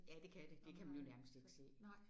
Ja det er det. Det kan man jo nærmest ikke se